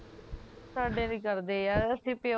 ਸਾਡੇ ਨੀ ਕਰਦੇ ਯਾਰ ਅਸੀਂ ਪਿਓ